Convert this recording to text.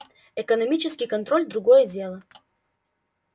экономический контроль другое дело